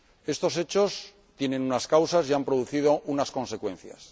Estos hechos tienen unas causas y han producido unas consecuencias.